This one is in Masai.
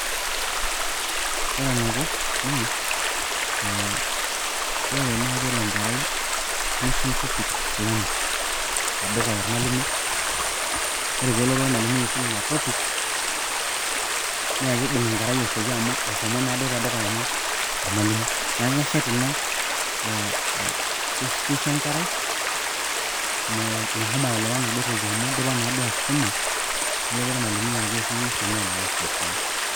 Ore enaiko naa ee ore naai pee elo enkerai nisum topic fulani tedukuya olmalimui, ore pee elotu olmalimui aisum ina topic naa kibung enkerai asioki. Amu eshomo duo te dukuya nyoo, ormalimui. Niaku keshet ina ee kisho enkerai meshomo aelewa enaduo toki amu idipa naaduo aisuma. Nelotu ormalimui aisum neisho meelewa asiokisioki.